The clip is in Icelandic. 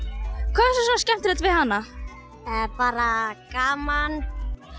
hvað var svona skemmtilegt bara gaman